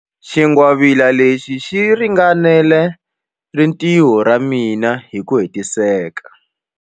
Xingwavila lexi xi ringanela rintiho ra mina hi ku hetiseka.